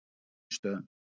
Frá Egilsstöðum.